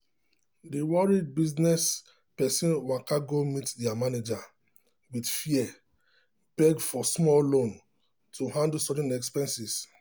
the worried business person waka go meet their manager with fear beg for small loan to handle sudden expenses.